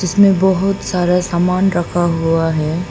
इसमें बहुत सारा सामान रखा हुआ है।